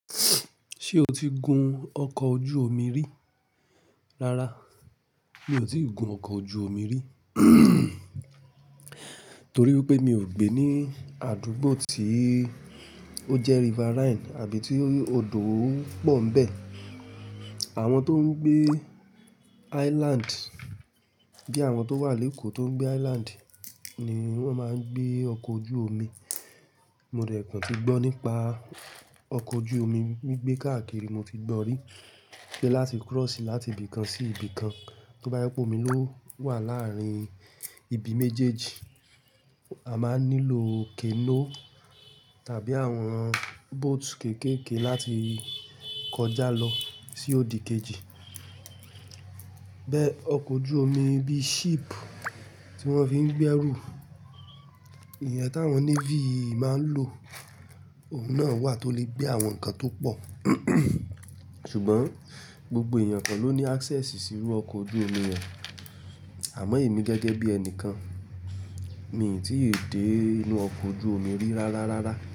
Ṣé o ti gun ọkọ̀ ojú omi rí? Rárá, mi ò tí ì gun ọkọ̀ ojú omi rí. Torí pé mi ò gbé ní àdúgbò tí ó jẹ́ riverine àbí tí odò pọ̀ ń bẹ̀. Àwọn tó ń gbé island, bí i àwọn tó wà lékòó tó ń gbé island ni wọ́n máa ń gbé ọkọ̀ ojú omi. Mo dẹ̀ kàn ti gbọ́ nípa ọkọ̀ ojú omi, gbígbé káàkiri mo ti gbọ́ rí. Pé láti cross láti ibì kan sí ibì kan, tó bá jẹ́ pé omi ló wà láàárín ibi méjèèjì, a máa nílò canoe tàbí àwọn boat kéékèèké láti kọjá lọ sí òdì kejì. Bẹ́ẹ̀ ọkọ̀ ojú omi bíi ship tí wọ́n fi ń gbé ẹrù, ìyẹn tí àwọn navy máa ń lò, òhun náà wà tó lè gbé àwọn nǹkan tó pọ̀. Ṣùgbọ́n gbogbo èèyàn kọ̀ ló ní access sí irú ọkọ̀ ojú omi yẹn àmọ́ èmi gẹ́gẹ́ bí ẹnìkan, mi ò tí ì dé inú ọkọ̀ ojú omi rí rárá rárá.